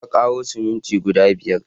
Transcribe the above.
Na ƙaro siminti guda biyar